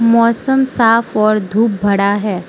मौसम साफ और धूप भड़ा है।